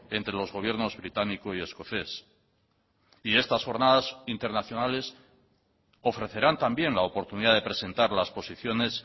entre los gobiernos británico y escocés y estas jornadas internacionales ofrecerán también la oportunidad de presentar las posiciones